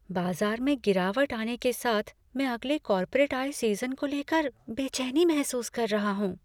बाज़ार में गिरावट आने के साथ, मैं अगले कॉर्पोरेट आय सीज़न को ले कर बेचैनी महसूस कर रहा हूँ।